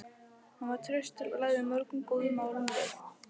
Hann var traustur og lagði mörgum góðum málum lið.